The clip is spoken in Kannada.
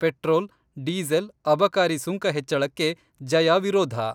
ಪೆಟ್ರೋಲ್‌, ಡೀಸೆಲ್‌ ಅಬಕಾರಿ ಸುಂಕ ಹೆಚ್ಚಳಕ್ಕೆ ಜಯಾ ವಿರೋಧ.